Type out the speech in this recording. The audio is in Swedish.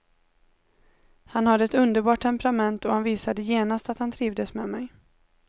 Han har ett underbart temperament och han visade genast att han trivdes med mig.